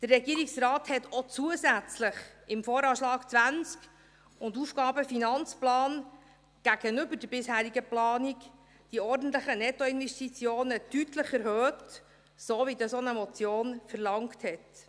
Der Regierungsrat erhöhte auch zusätzlich im VA 2020 und im AFP, gegenüber der bisherigen Planung, die ordentlichen Nettoinvestitionen deutlich, so wie dies auch eine Motion verlangte.